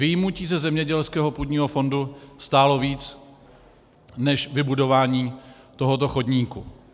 Vyjmutí ze zemědělského půdního fondu stálo víc než vybudování tohoto chodníku.